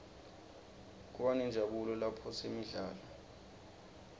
kubanenjabulo laphosinemidlalo